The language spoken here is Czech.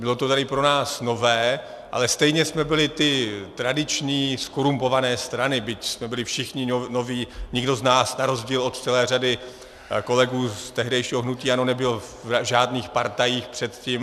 Bylo to tady pro nás nové, ale stejně jsme byly ty tradiční zkorumpované strany, byť jsme byli všichni noví, nikdo z nás na rozdíl od celé řady kolegů z tehdejšího hnutí ANO nebyl v žádných partajích předtím.